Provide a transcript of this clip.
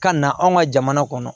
Ka na anw ka jamana kɔnɔ